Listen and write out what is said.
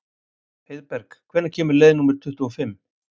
Heiðberg, hvenær kemur leið númer tuttugu og fimm?